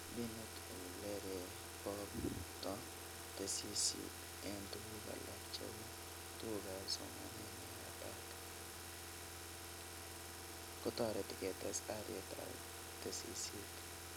Mbinuit olereboto tesisyit eng tuguk alak cheu tugukab somanet neyataat, kotoreti kotes alietab tesisyit